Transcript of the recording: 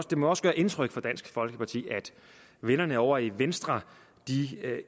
det må også gøre indtryk på dansk folkeparti at vennerne ovre i venstre